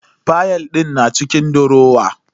Fayal din na cikin durowa.